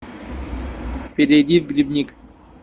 перейди в грибник